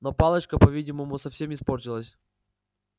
но палочка по-видимому совсем испортилась